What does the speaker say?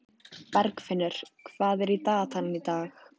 Bergfinnur, hvað er í dagatalinu í dag?